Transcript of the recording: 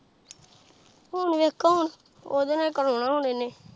ਹੁਣ ਵੇਖੋ ਹੁਣ ਉਦੇ ਨਾਲ ਹੀ ਕਰਾਉਣਾ ਹੁਣ ਇੰਨੇ।